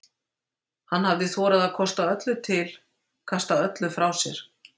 Hann hafði þorað að kosta öllu til, kasta öllu frá sér.